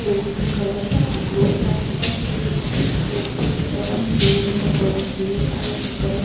Plane का colour blue है plane के उस तरफ पेड़ का कलर ग्रीन है इस तरफ।